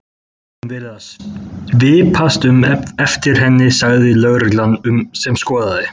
Við höfum verið að svipast um eftir henni sagði lögreglan sem skoðaði